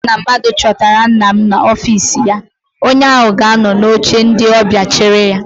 Mgbe ọbụla mmadụ chọtara nna m n'ọfịịsi ya, onye ahụ ga anọ n'oche ndị ọbịa chere ya.